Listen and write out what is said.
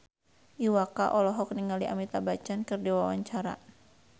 Iwa K olohok ningali Amitabh Bachchan keur diwawancara